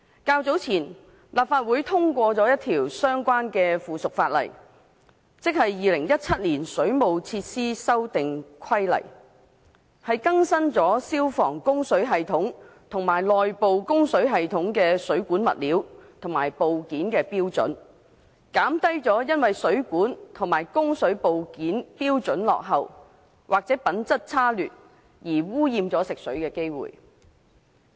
較早前，立法會通過了一項相關附屬法例，即《2017年水務設施規例》，更新了消防供水系統及內部供水系統的水管物料和部件的標準，減低因為水管和供水部件標準落後，或者品質差劣而污染食水的機會。